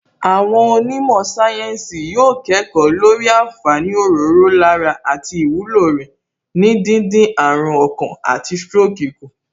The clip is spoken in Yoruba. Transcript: Àwọn onímọ̀ sáyẹ́ǹsì yóò kẹ́kọ̀ọ́ lórí àǹfààní òróró lára àti ìwúlò rẹ̀ ní díndín àrùn ọkàn àti stroke kù